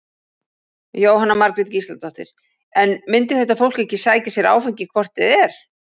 Jóhanna Margrét Gísladóttir: En myndi þetta fólk ekki sækja sér áfengi hvort eð er?